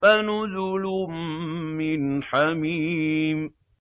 فَنُزُلٌ مِّنْ حَمِيمٍ